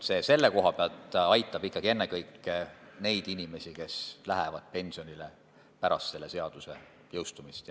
See eelnõu aitab ennekõike ikkagi neid inimesi, kes lähevad pensionile pärast selle seaduse jõustumist.